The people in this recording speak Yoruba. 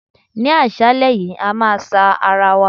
Ní àṣálẹ́ yìí, a máa sa ara wa.